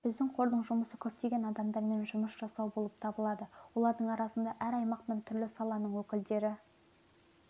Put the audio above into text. біздің қордың жұмысы көптеген адаммен жұмыс жасау болып табылады олардың арасында әр аймақтан түрлі саланың өкілдері